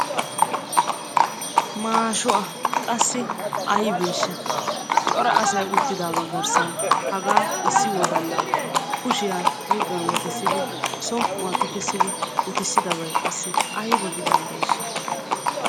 Maasho a ! Qassi aybeeshsha? Cora asay uttidaaga garssan hagaa issi wodalla kushiya huuphiya wotissidi som"uwa tukkissidi uttissidabay qassi ayba gidanddeeshsha?